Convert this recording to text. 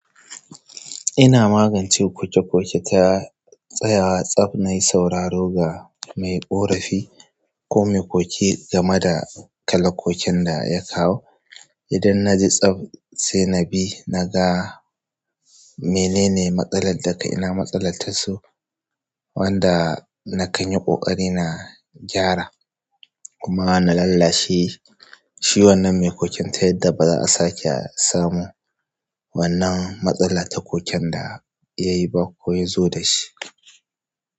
Ina magance koke-koke ta tsayawa tsab na yi sauraro ga mai ƙorafi ko mai koke game da kalakokin da ya kawo. Idan na ji tsab sai na bi, na ga menene matsalar da ka ina matsalar ta so wanda na kan yi ƙoƙari na gyara kuma na lallashe shi wannan mai koken ta yadda baza'a sake a samu wannan matsala ta koken da ya yi ba ko ya zo da shi.